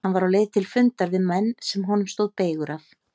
Hann var á leið til fundar við menn sem honum stóð beygur af.